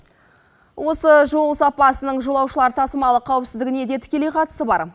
осы жол сапасының жолаушылар тасымалы қауіпсіздігіне де тікелей қатысы бар